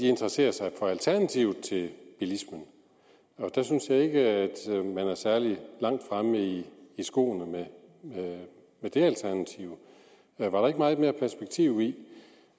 interesserer sig for alternativet til bilismen og jeg synes ikke at man er særlig langt fremme i skoene med det alternativ var der ikke meget mere perspektiv i